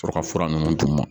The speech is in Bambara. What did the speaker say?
Sɔrɔ ka fura ninnu d'u ma